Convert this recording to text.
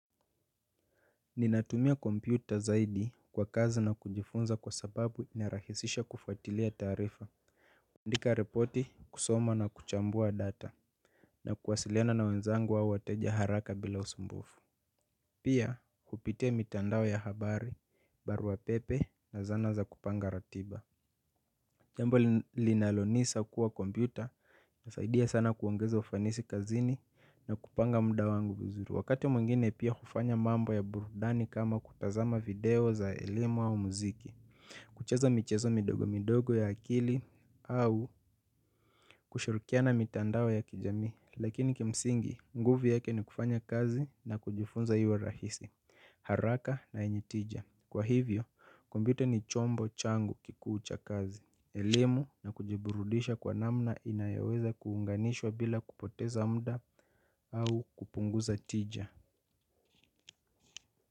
Ninatumia kompyuta zaidi kwa kazi na kujifunza kwa sababu inarahisisha kufatilia taarifa. Kuandika ripoti, kusoma na kuchambua data na kuwasiliana na wenzangu au wateja haraka bila usumbufu. Pia kupitia mitandao ya habari barua pepe na zana za kupanga ratiba. Jambo linalonisa kuwa kompyuta inasaidia sana kuongeza ufanisi kazini na kupanga muda wangu vizuru. Wakati mwingine pia hufanya mambo ya burudani kama kutazama video za elimu au muziki. Kucheza michezo midogo midogo ya akili au kushirikiana mitandao ya kijamii. Lakini kimsingi, nguvu yake ni kufanya kazi na kujifunza iwe rahisi. Haraka na yenye tija. Kwa hivyo, kumpyuta ni chombo changu kikuu cha kazi, elimu na kujiburudisha kwa namna inayoweza kuunganishwa bila kupoteza muda au kupunguza tija.